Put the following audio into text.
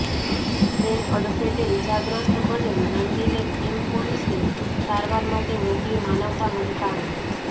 train અડફેટે ઇજાગ્રસ્ત બનેલ નંદીને કીમ પોલીસે સારવાર માટે મોકલી માનવતા મહેકાવી